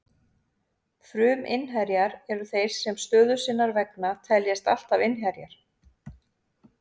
Fruminnherjar eru þeir sem stöðu sinnar vegna teljast alltaf innherjar.